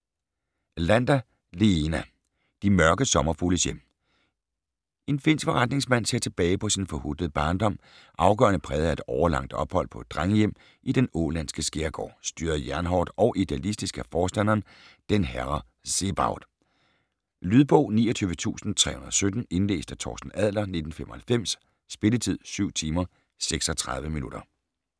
Lander, Leena: De mørke sommerfugles hjem En finsk forretningsmand ser tilbage på sin forhutlede barndom, afgørende præget af et årelangt ophold på et drengehjem i den ålandske skærgård, styret jernhårdt og idealistisk af forstanderen "Den Herre Zebaot". Lydbog 29317 Indlæst af Torsten Adler, 1995. Spilletid: 7 timer, 36 minutter.